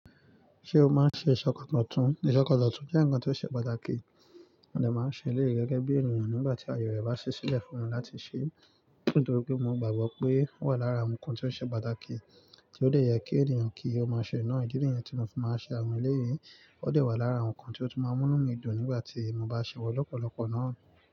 Ṣé o máa ń ṣe ṣọkọtọ́tún? Ìṣọkọtọ́tún jẹ́ nǹkan tó ṣe pàtàkì, mọ̀ dẹ̀ máa ń ṣe nílé gẹ́gẹ́ bí ènìyàn nígbà tí àyè rẹ̀ bá ṣẹ́ sílẹ̀ fún wọn láti ṣe. Nítorí pé mo gbagbo pé ó wà lára àwọn ǹkan tó ṣe pàtàkì tí ó dè yẹ kí ènìyàn kí ó máa ṣe. Ìdí ni yẹn tí mo fi máa ń ṣe àwọn ẹlẹyii ó dẹ̀ wà lára àwọn ǹkan tí ó tún máa ńinu mí dùn nígbà tí mo bá ṣè wọ̀n lọ́pọ̀lọpọ̀ náà.